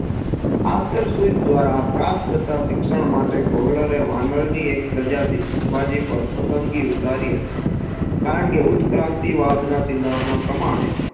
આંતર સહિત દ્વારા પ્રાપ્ત થતા શિક્ષણ માટે કોહલરે વાનરની એક પ્રજાટી ચિમ્પાન્જી પાર પસન્દગી ઉતારી હતી કારણકે ઉત્ક્રાંતિ વાળના સિદ્ધાંત ના પ્રમાણે